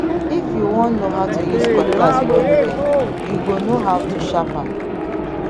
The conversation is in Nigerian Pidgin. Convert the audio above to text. if you won no how to use cutlass wellwell you go no how to sharp am